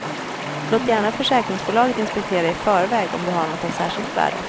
Låt gärna försäkringsbolaget inspektera i förväg om du har något av särskilt värde.